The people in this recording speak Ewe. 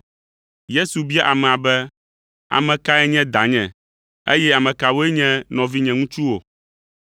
Yesu bia amea be, “Ame kae nye danye, eye ame kawoe nye nɔvinye ŋutsuwo?”